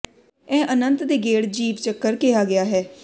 ਇਹ ਅਨੰਤ ਦੇ ਗੇੜ ਜੀਵ ਚੱਕਰ ਕਿਹਾ ਗਿਆ ਹੈ